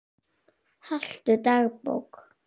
Haltu dagbók.